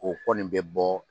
O kɔni bɛ bɔ.